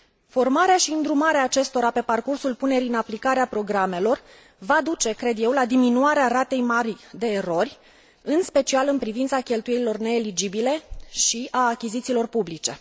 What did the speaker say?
Formarea și îndrumarea acestora pe parcursul punerii în aplicare a programelor va duce, cred eu, la diminuarea ratei mari de erori, în special în privința cheltuielilor neeligibile și a achizițiilor publice.